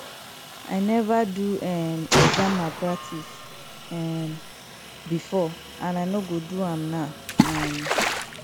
i never do um exam malpractice um before and i no go do am now um